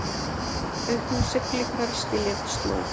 Auknar siglingar skilja eftir slóð